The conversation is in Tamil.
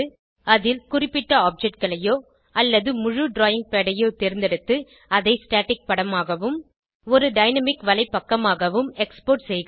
அதில் குறிப்பிட்ட objectகளையோ அல்லது முழு டிராவிங் பாட் ஐயோ தேர்ந்தெடுத்து அதை ஸ்டாட்டிக் படமாகவும் ஒரு டைனாமிக் வலைப்பக்கமாகவும் எக்ஸ்போர்ட் செய்க